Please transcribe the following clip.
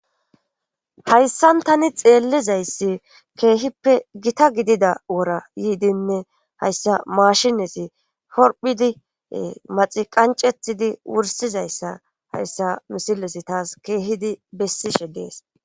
hayssan tani xeellizayssi keehippe gita gidida wora yiidinne hayssa maashinesi horphidi maxi qancetidi wursizayssa hayssa misilesi taas keehidi bessishe dees